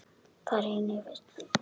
Þar renni ég fyrir fisk.